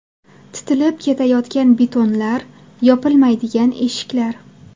Titilib ketayotgan betonlar, yopilmaydigan eshiklar.